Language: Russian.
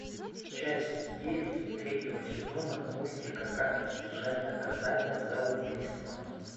часть девять третьего сезона мультика как избежать наказания за убийство